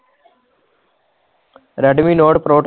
raid ਮੈ Note pro